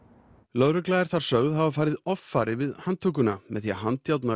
lögreglan er þar sögð hafa farið offari við handtökuna með því að handjárna